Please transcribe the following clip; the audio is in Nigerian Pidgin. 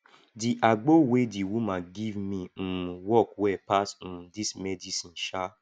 di agbo wey di woman give me um work well pass um dis medicine um